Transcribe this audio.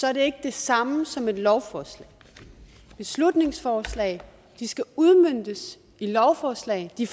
er det ikke det samme som et lovforslag beslutningsforslag skal udmøntes i lovforslag de